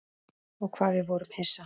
Og hvað við vorum hissa.